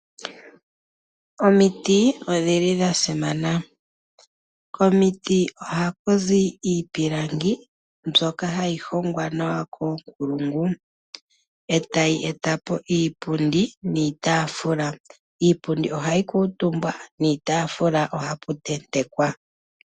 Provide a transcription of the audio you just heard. Omiti odhili dha simana nookondo. Komiti oha ku zi iipilangi mbyoka hayi hongwa nawa koonkulungu, etayi etapo iipundi niitafula. Iipundi ohayi kuutumbwa niitafula ohapu tentekwa.